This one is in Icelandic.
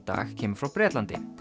dag kemur frá Bretlandi